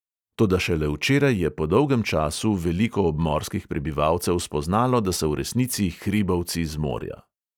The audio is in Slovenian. Toda šele včeraj je po dolgem času veliko obmorskih prebivalcev spoznalo, da so v resnici hribovci z morja.